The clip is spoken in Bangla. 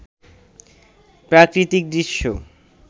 প্রাকৃতিক দৃশ্য